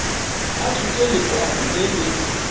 a tshotse lekwalo le le